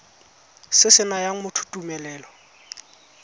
se se nayang motho tumelelo